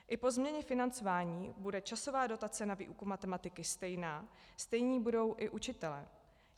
I po změně financování bude časová dotace na výuku matematiky stejná, stejní budou i učitelé.